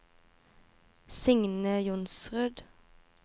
Signe Johnsrud